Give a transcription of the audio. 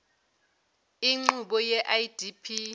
inqubo ye idp